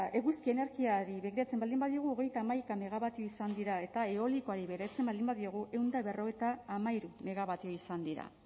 eguzki energiari begiratzen baldin badiogu hogeita hamaika megawatio izan dira eta eolikoari begiratzen baldin badiogu ehun eta berrogeita hamairu megawatio izan dira